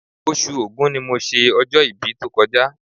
Oṣù Ògún ni mo ṣe ọjọ́-ibí tó kọjá